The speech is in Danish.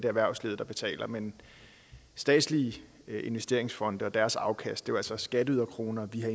erhvervslivet der betaler men statslige investeringsfonde og deres afkast er altså også skatteyderkroner der